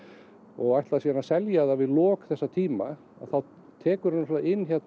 og ætlar síðan að selja það við lok þess tíma þá tekurðu náttúrulega inn